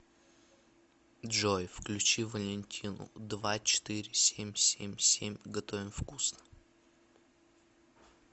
джой включи валентину два четыре семь семь семь готовим вкусно